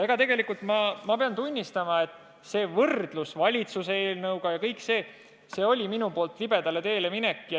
Ja pean tunnistama, et võrdlus valitsuse eelnõuga oli minu poolt libedale teele minek.